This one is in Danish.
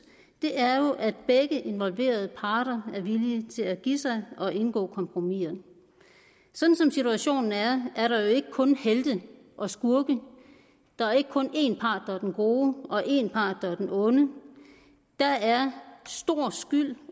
er at begge involverede parter er villige til at give sig og indgå kompromiser sådan som situationen er er der jo ikke kun helte og skurke der er ikke kun en part der er den gode og en part der er den onde der er stor skyld